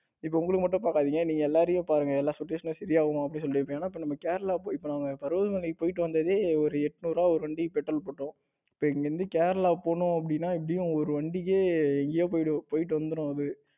இப்போ உங்களுக்கு மட்டும் பாக்காதீங்க நீங்க எல்லாரையும் பாருங்க எல்லா situation சரியா வருமான்னு அப்படி சொல்லிட்டு இப்ப நம்ம கேரளா போயி இப்போ நம்ம பர்வத மலைக்கு போயிட்டு வந்ததே ஒரு எண்ணுரு ரூபாய் ஒரு வண்டிக்கு petrol போட்டோம். இங்க இருந்து கேரளா போனோம் அப்படின்னா எப்படியும் ஒரு வண்டிக்கு எங்கேயோ போயிட்டு வந்துரும் அது